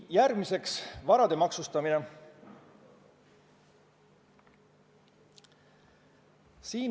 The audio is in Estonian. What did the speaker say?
Järgmine teema: varade maksustamine.